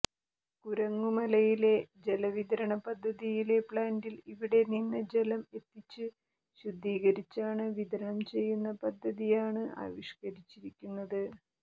കുരങ്ങുമലയിലെ ജലവിതരണ പദ്ധതിയിലെ പ്ലാന്റിൽ ഇവിടെ നിന്ന് ജലം എത്തിച്ച് ശുദ്ധീകരിച്ചാണ് വിതരണം ചെയ്യുന്ന പദ്ധതിയാണ് ആവിഷ്കരിച്ചിരിക്കുന്നത്